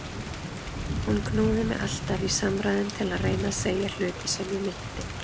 Hún knúði mig alltaf í samræðum til að reyna að segja hluti sem ég meinti.